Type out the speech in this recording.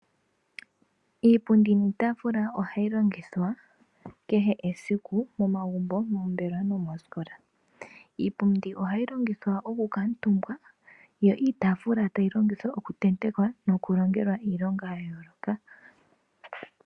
Iipundi niitafula ohayi longithwa ohayi longithwa kehe esiku momagumbo ,moombelewa nomoosikola. Iipundi ohayi longithwa oku kuutumba yo iitafula tayi longithwa oku tenteka oshowo iilonga ya yooloka.